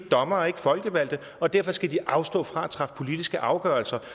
dommere er ikke folkevalgte og derfor skal de afstå fra at træffe politiske afgørelser